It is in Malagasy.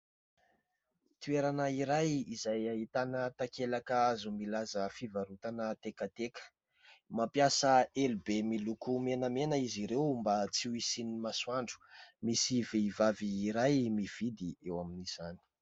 Toerana iray izay ahitana takelaka hazo milaza fivarotana tekateka. Mampiasa elo be miloko menamena izy ireo mba tsy ho isiany masoandro, misy vehivavy iray mividy eo amin'izany.